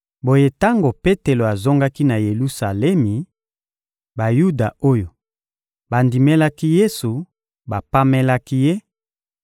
Boye, tango Petelo azongaki na Yelusalemi, Bayuda oyo bandimelaki Yesu bapamelaki ye